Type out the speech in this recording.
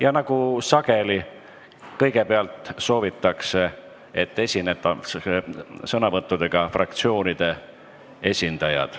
Ja nagu sageli soovitakse, kõigepealt esinevad sõnavõtuga fraktsioonide esindajad.